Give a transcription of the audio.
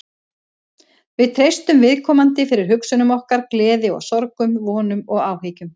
Við treystum viðkomandi fyrir hugsunum okkar, gleði og sorgum, vonum og áhyggjum.